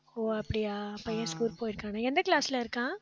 ஓ அப்படியா பையன் school போயிருக்கானே எந்த class ல இருக்கான்